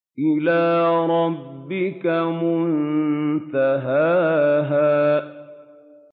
إِلَىٰ رَبِّكَ مُنتَهَاهَا